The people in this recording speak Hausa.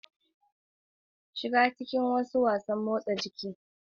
Shiga cikin wasu wasanmotsa jiki.